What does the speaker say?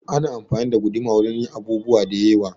Ana anfani da guduma wurin yin abubuwa da yewa